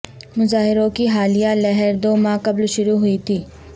مظاہروں کی حالیہ لہر دو ماہ قبل شروع ہوئی تھی